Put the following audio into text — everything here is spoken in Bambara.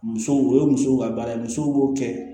Musow o ye musow ka baara ye musow b'o kɛ